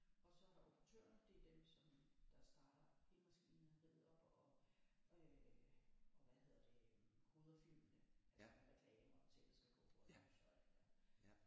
Og så er der operatørerne det er dem som jo der starter hele maskineriet op og øh øg hvad hedder det koder filmene altså med reklamer og ting der skal gå og lys og alt det der